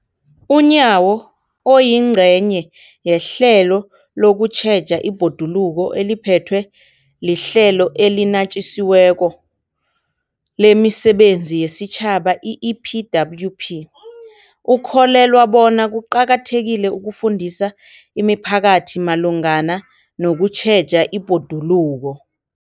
UNyawo, oyingcenye yehlelo lokutjheja ibhoduluko eliphethwe liHlelo eliNatjisi weko lemiSebenzi yesiTjhaba, i-EPWP, ukholelwa bona kuqakathekile ukufundisa imiphakathi malungana nokutjheja ibhoduluko.